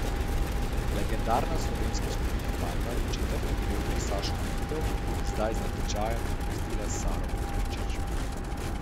Legendarna slovenska skupina Panda je četrto pevko Sašo Danilov zdaj z natečajem nadomestila s Saro Petrovčič.